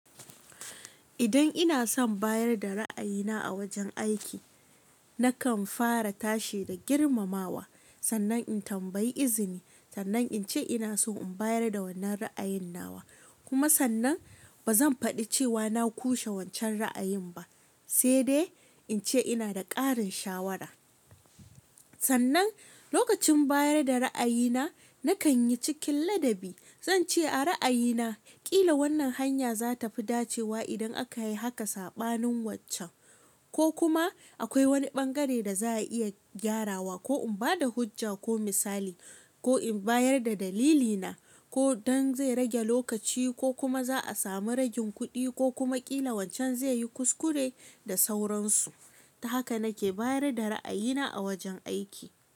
Idan ina son bayar da ra'ayina a wajen aiki, nakan fara tashi da girmamawa. Sannan in tambayi izini, sannan in ce ina so in bayar da wannan ra'ayin na wa. Kuma sannan ba zan faɗi cewa na ƙushe wancan ra'ayin ba, sai dai in ce ina da ƙarin shawara. Sannan lokacin bayar da ra'ayina, nakan yi cikin ladabi. Zan ce a ra'ayina, ƙila wannan hanya za ta fi dacewa idan aka yi haka saɓanin waccan. Ko kuma akwai wani ɓangare da za a iya gyarawa ko in ba da hujja ko misali ko in bayar da dalilina. Ko don zai rage lokaci ko kuma za a sami ragin kuɗi ko kuma ƙila wancan zai yi kuskure da sauransu. Ta haka nake bayar da ra'ayina a wajen aiki.